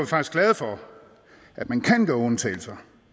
faktisk glade for at man kan gøre undtagelser